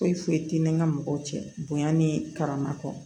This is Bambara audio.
Foyi foyi tɛ ni ka mɔgɔw cɛ bonya ni karama kɔ